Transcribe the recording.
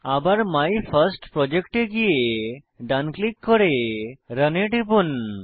আবার মাইফার্স্টপ্রজেক্ট এ গিয়ে ডান ক্লিক করুন করে রান এ টিপুন